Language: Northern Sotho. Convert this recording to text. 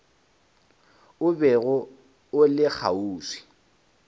o bego o le kgauswi